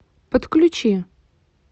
подключи